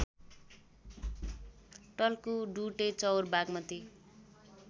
Talku Dudechaur Bagmati